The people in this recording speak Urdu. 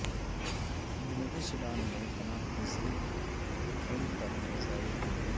جنوبی سوڈان میں پناہ گزین کیمپ پر فضائی حملے